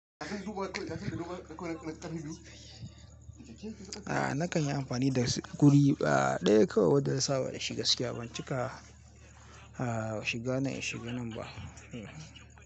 A nakan yi amfani da gudi a ɗaya kawai wadda na saba da shi gaskiya, ban cika shiga nan in shiga nan ba. Hmm.